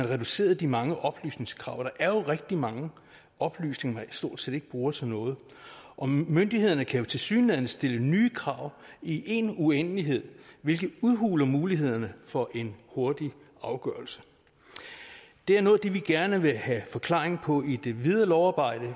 reduceret de mange oplysningskrav der er jo rigtig mange oplysninger man stort set ikke bruger til noget og myndighederne kan jo tilsyneladende stille nye krav i en uendelighed hvilket udhuler mulighederne for en hurtig afgørelse det er noget af det vi gerne vil have forklaring på i det videre lovarbejde